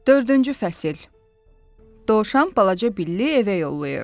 Dördüncü fəsil, Dovşan balaca billi evə yollayır.